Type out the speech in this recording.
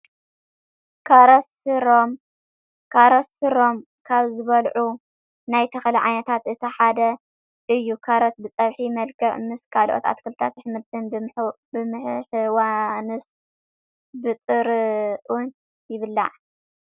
ካሮት ስሮም ካብ ዝብልዑ ናይ ተክሊ ዓይነታት እቲ ሓደ እዩ። ካሮት ብፀብሒ መልክዕ ምስ ካልኦት ኣትክልትን ኣሕምልትን ብምሕዋንስ ብጥርኡን ይብላዕ።